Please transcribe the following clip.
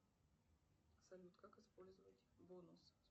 салют как использовать бонус